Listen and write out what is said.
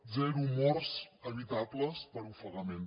zero morts evitables per ofegament